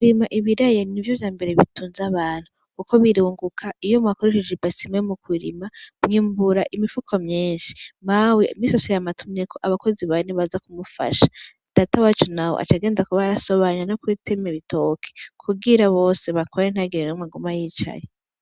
Kurima ibiraya n'ivyo vyambere bitunze abantu, kuko birunguka iyo mwakoresheje ibase imwe mukurima mwimbura imifuko myinshi, mawe imisi yose yama atumyeko abakozi bane baza kumufasha, data wacu nawe acagenda kuba arasobanya no gutema ibitoki kugira bose bakora ntihagire n'umwe agume yicaye.